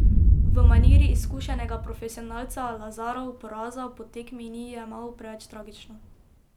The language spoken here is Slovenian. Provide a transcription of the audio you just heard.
V maniri izkušenega profesionalca Lazarov poraza po tekmi ni jemal preveč tragično.